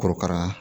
Korokara